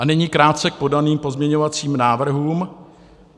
A nyní krátce k podaným pozměňovacím návrhům.